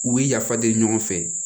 U bɛ yafa deli ɲɔgɔn fɛ